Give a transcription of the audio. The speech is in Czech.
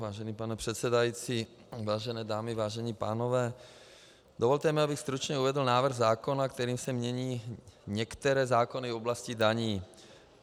Vážený pane předsedající, vážené dámy, vážení pánové, dovolte mi, abych stručně uvedl návrh zákona, kterým se mění některé zákony v oblasti daní.